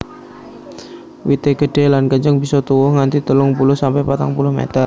Wité gedhé lan kenceng bisa tuwuh nganti telung puluh sampe patang puluh meter